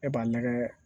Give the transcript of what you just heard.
E b'a nɛgɛ